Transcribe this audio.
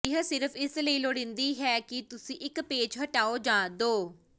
ਇਹ ਸਿਰਫ ਇਸ ਲਈ ਲੋੜੀਂਦੀ ਹੈ ਕਿ ਤੁਸੀਂ ਇੱਕ ਪੇਚ ਹਟਾਓ ਜਾਂ ਦੋ